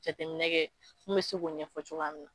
Jateminɛ kɛ mun bɛ se ko ɲɛfɔ cogoya mina.